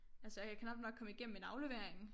Altså jeg kan knap nok komme igennem en aflevering